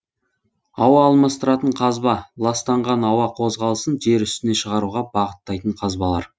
ауа алмастыратын қазба ластанған ауа қозғалысын жер үстіне шығаруға бағыттайтын қазбалар